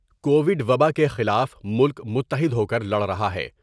Covid وبا کے خلاف ملک متحد ہوکر لڑ رہا ہے ۔